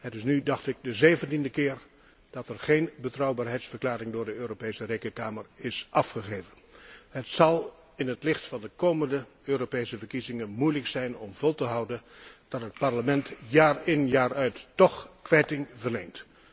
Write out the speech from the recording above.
zaak. Het is nu, dacht ik, de zeventiende keer dat er geen betrouwbaarheidsverklaring door de Europese Rekenkamer is afgegeven. Het zal in het licht van de komende Europese verkiezingen moeilijk zijn om vol te houden dat het Parlement jaar in jaar uit toch kwijting verleent.